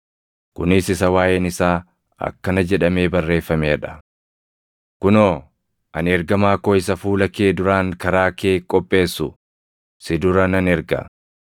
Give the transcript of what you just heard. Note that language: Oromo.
Kunis isa waaʼeen isaa akkana jedhamee barreeffamee dha. “ ‘Kunoo, ani ergamaa koo isa fuula kee duraan karaa kee qopheessu, si dura nan erga.’ + 11:10 \+xt Mil 3:1\+xt*